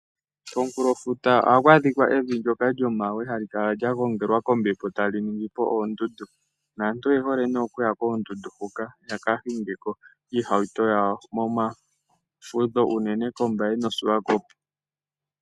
Komunkulofuta ohaku adhika evi ndyoka lyomawe hali kala lya gongelwa kombepo etali ningi po oondundu. Naantu oye hole nee okuya koondundu hoka. Yaka hingeko iihauto yawo moma fudho unene tuu koMbaye noShiwakopo.